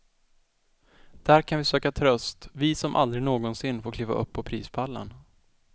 Där kan vi söka tröst, vi som aldrig någonsin får kliva upp på prispallen.